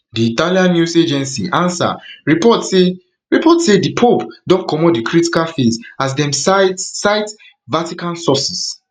di italian news agency ansa report say report say di pope don comot di critical phase as dem cite cite vatican sources